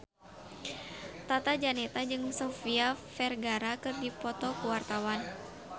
Tata Janeta jeung Sofia Vergara keur dipoto ku wartawan